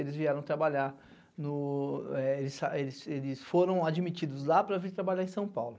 Eles vieram trabalhar no... Eles foram admitidos lá para vir trabalhar em São Paulo.